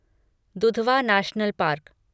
Dudhwa national park